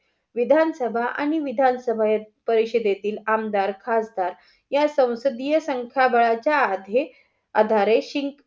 विधान सभा आणि विधान सभा ये परिशय देतील आमदार, खासदार या सौंसदीय संख्याबळाच्या अधे आधारे -